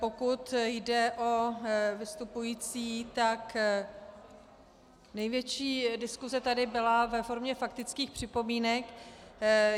Pokud jde o vystupující, tak největší diskuse tady byla ve formě faktických připomínek.